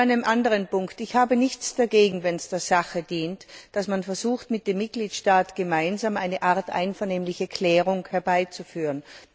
Zu einem anderen Punkt Ich habe nichts dagegen, wenn es der Sache dient, dass man versucht, mit dem Mitgliedstaat gemeinsam eine Art einvernehmliche Klärung herbeizuführen.